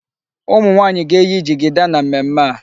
Ụmụnwaanyị ga-eyi jigida na mmemmé a.